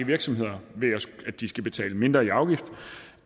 virksomheder ved at de skal betale mindre i afgift